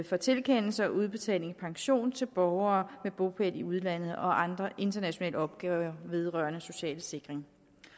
for tilkendelse og udbetaling af pension til borgere med bopæl i udlandet og andre internationale opgaver vedrørende social sikring